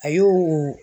A y'o o